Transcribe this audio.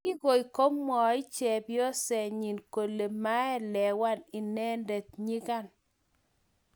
kikoi komwach chepyosenyi kole maelewan inendet nyikan